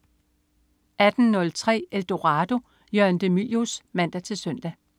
18.03 Eldorado. Jørgen de Mylius (man-søn)